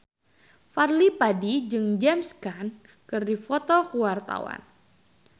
Fadly Padi jeung James Caan keur dipoto ku wartawan